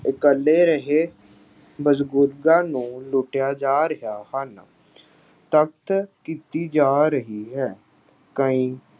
ਇਕੱਲੇ ਰਹੇ ਬਜ਼ੁਰਗਾਂ ਨੂੰ ਲੁੱਟਿਆ ਜਾ ਰਿਹਾ ਹਨ। ਤਖ਼ਤ ਕੀਤੀ ਜਾ ਰਹੀ ਹੈ। ਕਈ